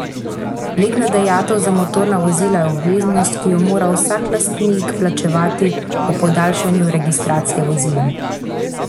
Letna dajatev za motorna vozila je obveznost, ki jo mora vsak lastnik plačati ob podaljšanju registracije vozila.